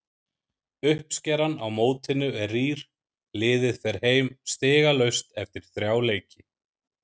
Uppskeran á mótinu er rýr, liðið fer heim stigalaust eftir þrjá leiki.